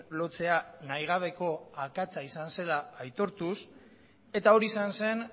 lotzea nahigabeko akatsa izan zela aitortuz eta hori izan zen